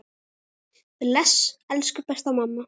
Bless, elsku besta mamma.